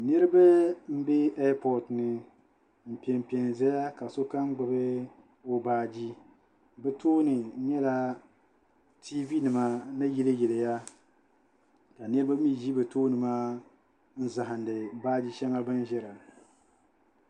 Niriba m-be epoti ni m-pempe zaya ka sokam gbubi o baaji bɛ tooni nyɛla tiivinima ni yiliyiliya ka niriba mi ʒi bɛ tooni maa n-zahindi baaji shɛŋa bɛ ni ʒira